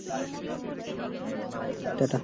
টা টা